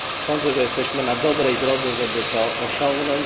Sądzę, że jesteśmy na dobrej drodze, żeby to osiągnąć.